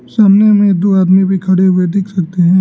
सामने में दो आदमी भी खड़े हुए देख सकते हैं।